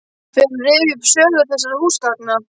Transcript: Fer að rifja upp sögu þessara húsgagna.